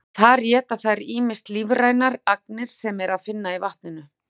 þar éta þær ýmsar lífrænar agnir sem er að finna í vatninu